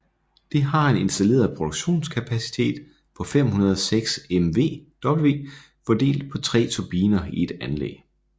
Det har en installeret produktionskapacitet på 506 MW fordelt på 3 turbiner i ét anlæg